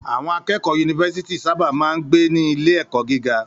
Àwọn akẹ́kọ̀ọ́ yunifásítì sábà máa ń gbé ní ilé-ẹ̀kọ́ gíga.